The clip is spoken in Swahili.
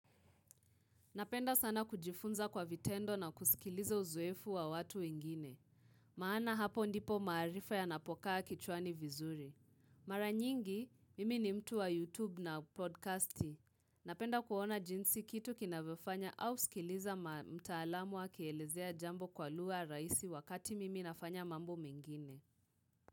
Napenda sana kujifunza kwa vitendo na kusikiliza uzoefu wa watu wengine. Maana hapo ndipo maarifa yanapokaa kichwani vizuri. Mara nyingi, mimi ni mtu wa YouTube na podcasti. Napenda kuona jinsi kitu kinavyofanya au sikiliza mtaalamu akielezea jambo kwa lugha rahisi wakati mimi nafanya mambo mengine.